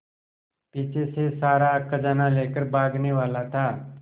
पीछे से सारा खजाना लेकर भागने वाला था